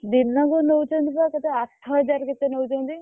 ଦିନକୁ ନଉଛନ୍ତି ବା କେତେ ଆଠ ହଜାର କେତେ ନଉଛନ୍ତି।